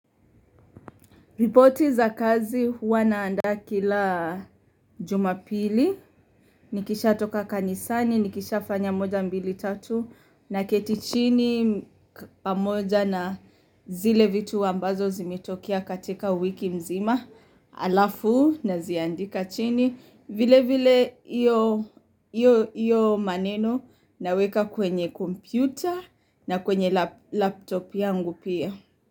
Ripoti za kazi huwa naandaa kila jumapili. Nikisha toka kanisani, nikisha fanya moja mbili tatu. Na keti chini pamoja na zile vitu ambazo zimetokea katika wiki mzima. Alafu naziandika chini. Vile vile iyo maneno naweka kwenye kompyuta na kwenye laptop yangu pia.